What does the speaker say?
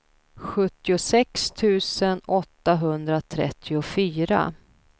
sjuttiosex tusen åttahundratrettiofyra